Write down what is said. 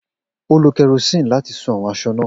O lo kerosene lati sun awọn aṣọ naa.